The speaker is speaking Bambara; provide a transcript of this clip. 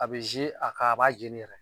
A bɛ ze a kan, a b'a jeni yɛrɛ.